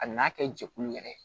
A n'a kɛ jɛkulu yɛrɛ ye